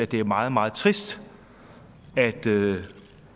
det er meget meget trist at det